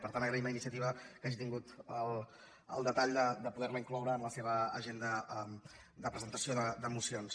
per tant agra·ïm a iniciativa que hagi tingut el detall de poder·la in·cloure en la seva agenda de presentació de mocions